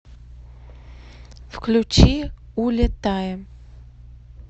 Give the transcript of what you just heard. включи улетаем